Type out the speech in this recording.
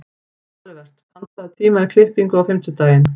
Olivert, pantaðu tíma í klippingu á fimmtudaginn.